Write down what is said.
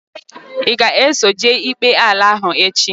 I ga eso jee ikpe ala ahu echi?